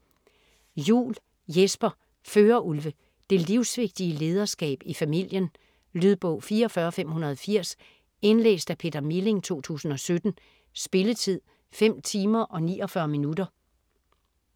Juul, Jesper: Førerulve Det livsvigtige lederskab i familien. Lydbog 44580 Indlæst af Peter Milling, 2017. Spilletid: 5 timer, 49 minutter.